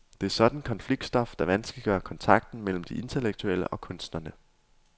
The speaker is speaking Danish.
Det er sådant konfliktstof, der vanskeliggør kontakten mellem de intellektuelle og kunstnerne.